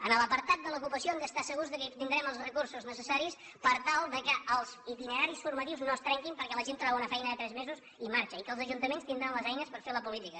en l’apartat de l’ocupació hem d’estar segurs que tindrem els recursos necessaris per tal que els itineraris formatius no es trenquin perquè la gent troba una feina de tres mesos i marxa i que els ajuntaments tindran les eines per fer la política